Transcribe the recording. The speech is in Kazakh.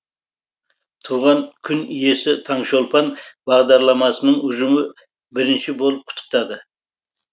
туған күн иесі таңшолпан бағдарламасының ұжымы бірінші болып құттықтады